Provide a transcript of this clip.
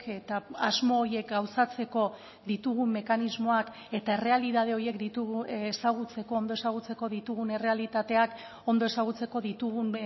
eta asmo horiek gauzatzeko ditugun mekanismoak eta errealitate horiek ditugu ezagutzeko ondo ezagutzeko ditugun errealitateak ondo ezagutzeko ditugun